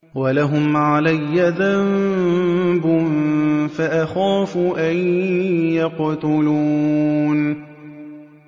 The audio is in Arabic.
وَلَهُمْ عَلَيَّ ذَنبٌ فَأَخَافُ أَن يَقْتُلُونِ